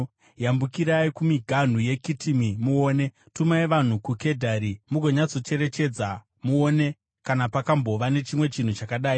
Yambukirai kumiganhu yeKitimi muone, tumai vanhu kuKedhari mugonyatsocherechedza; muone kana pakambova nechimwe chinhu chakadai: